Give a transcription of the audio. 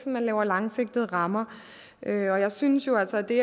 man laver langsigtede rammer og jeg synes jo altså at det